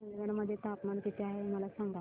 चंदगड मध्ये तापमान किती आहे मला सांगा